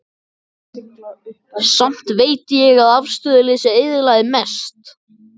Samt veit ég að afstöðuleysið eyðilagði mest.